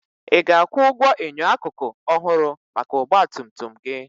Ị ga-akwụ ụgwọ enyo akụkụ ọhụrụ maka ọgba tum tum gị?